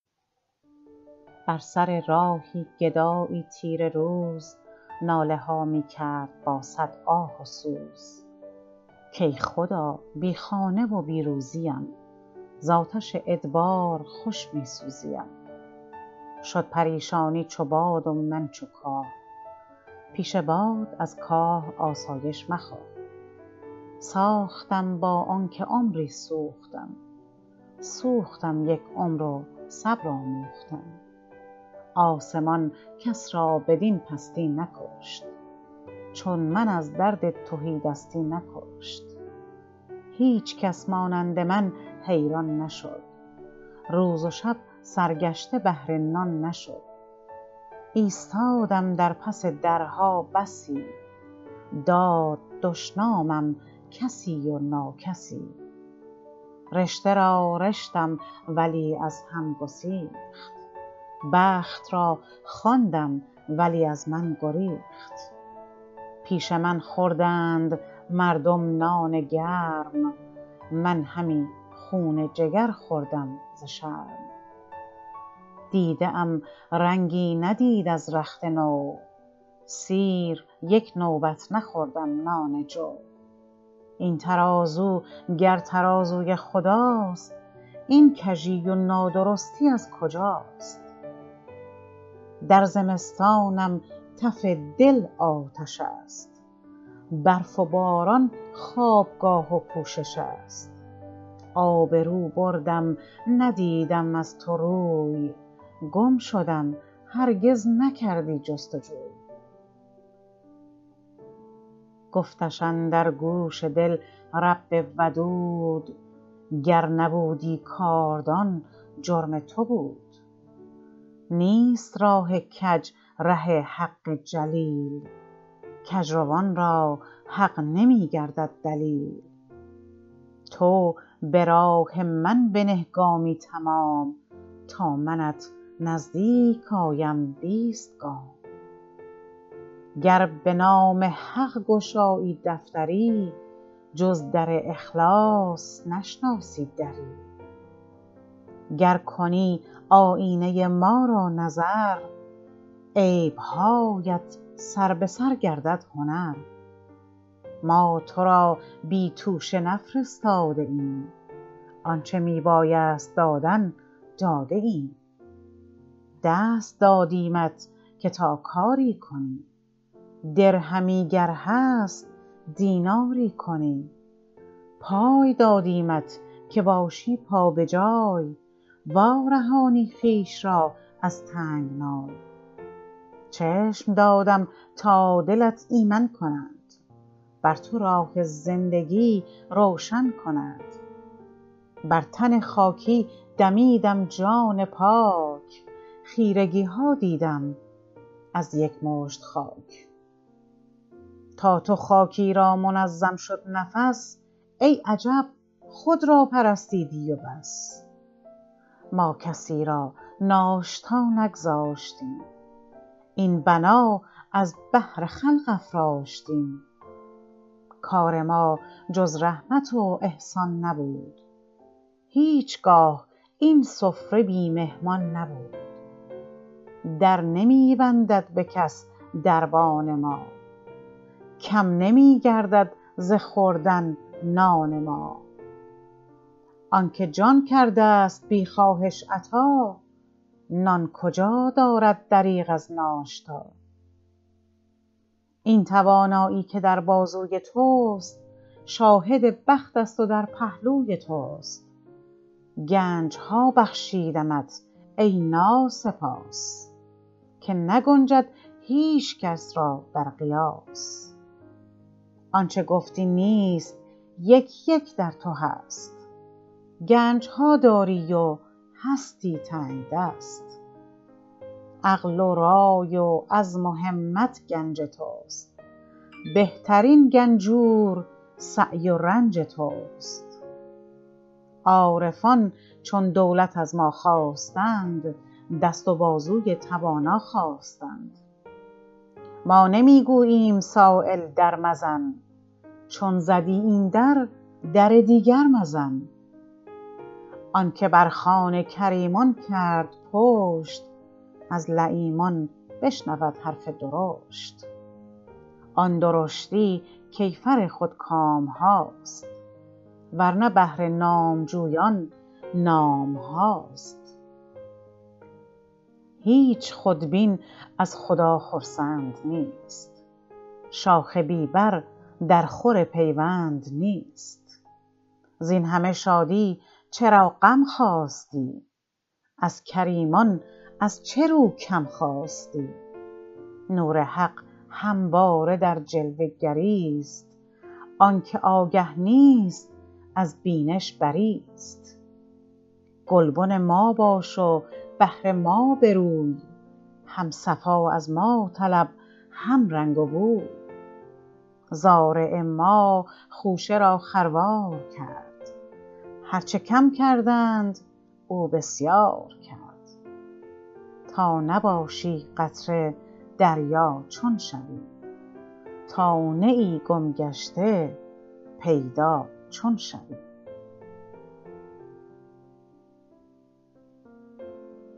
بر سر راهی گدایی تیره روز ناله ها میکرد با صد آه و سوز کای خدا بی خانه و بی روزیم ز آتش ادبار خوش میسوزیم شد پریشانی چو باد و من چو کاه پیش باد از کاه آسایش مخواه ساختم با آنکه عمری سوختم سوختم یک عمر و صبر آموختم آسمان کس را بدین پستی نکشت چون من از درد تهیدستی نکشت هیچکس مانند من حیران نشد روز و شب سرگشته بهر نان نشد ایستادم در پس درها بسی داد دشنامم کسی و ناکسی رشته را رشتم ولی از هم گسیخت بخت را خواندم ولی از من گریخت پیش من خوردند مردم نان گرم من همی خون جگر خوردم ز شرم دیده ام رنگی ندید از رخت نو سیر یک نوبت نخوردم نان جو این ترازو گر ترازوی خداست این کژی و نادرستی از کجاست در زمستانم تف دل آتش است برف و باران خوابگاه و پوشش است آبرو بردم ندیدم از تو روی گم شدم هرگز نکردی جستجوی گفتش اندر گوش دل رب ودود گر نبودی کاردان جرم تو بود نیست راه کج ره حق جلیل کجروان را حق نمیگردد دلیل تو براه من بنه گامی تمام تا منت نزدیک آیم بیست گام گر به نام حق گشایی دفتری جز در اخلاص نشناسی دری گر کنی آیینه ی ما را نظر عیبهایت سر بسر گردد هنر ما ترا بی توشه نفرستاده ایم آنچه می بایست دادن داده ایم دست دادیمت که تا کاری کنی درهمی گر هست دیناری کنی پای دادیمت که باشی پا بجای وارهانی خویش را از تنگنای چشم دادم تا دلت ایمن کند بر تو راه زندگی روشن کند بر تن خاکی دمیدم جان پاک خیرگیها دیدم از یک مشت خاک تا تو خاکی را منظم شد نفس ای عجب خود را پرستیدی و بس ما کسی را ناشتا نگذاشتیم این بنا از بهر خلق افراشتیم کار ما جز رحمت و احسان نبود هیچگاه این سفره بی مهمان نبود در نمی بندد بکس دربان ما کم نمیگردد ز خوردن نان ما آنکه جان کرده است بی خواهش عطا نان کجا دارد دریغ از ناشتا این توانایی که در بازوی تست شاهد بخت است و در پهلوی تست گنجها بخشیدمت ای ناسپاس که نگنجد هیچکس را در قیاس آنچه گفتی نیست یک یک در تو هست گنجها داری و هستی تنگدست عقل و رای و عزم و همت گنج تست بهترین گنجور سعی و رنج تست عارفان چون دولت از ما خواستند دست و بازوی توانا خواستند ما نمیگوییم سایل در مزن چون زدی این در در دیگر مزن آنکه بر خوان کریمان کرد پشت از لییمان بشنود حرف درشت آن درشتی کیفر خودکامهاست ورنه بهر نامجویان نامهاست هیچ خودبین از خدا خرسند نیست شاخ بی بر در خور پیوند نیست زین همه شادی چراغم خواستی از کریمان از چه رو کم خواستی نور حق همواره در جلوه گریست آنکه آگه نیست از بینش بریست گلبن ما باش و بهر ما بروی هم صفا از ما طلب هم رنگ و بوی زارع ما خوشه را خروار کرد هر چه کم کردند او بسیار کرد تا نباشی قطره دریا چون شوی تا نه ای گم گشته پیدا چون شوی